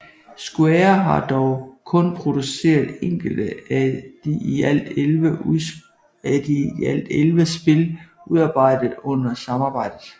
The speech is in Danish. Square har dog kun produceret enkelte af de i alt elleve spil udarbejdet under samarbejdet